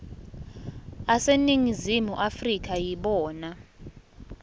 aseningizimu afrika yibona